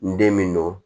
N den min don